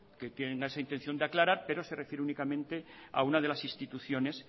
que tenga esa intención de aclarar pero se refiere únicamente a una de las instituciones